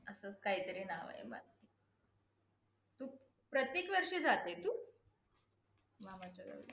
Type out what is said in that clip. असच काहीतरी नाव आहे बा! प्रत्येक वर्षी जाते तू? मामाच्या गावी.